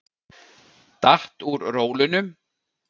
Datt úr rólunum.